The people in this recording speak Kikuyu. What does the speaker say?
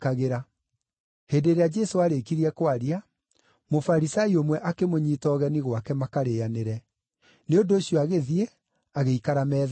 Hĩndĩ ĩrĩa Jesũ aarĩkirie kwaria, Mũfarisai ũmwe akĩmũnyiita ũgeni gwake makarĩanĩre; nĩ ũndũ ũcio agĩthiĩ, agĩikara metha-inĩ.